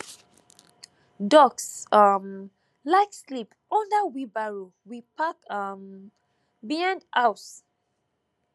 ducks um like sleep under wheelbarrow we park um behind house